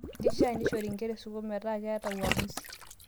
Keishia neishori nkera e sukuul meitai uamuzi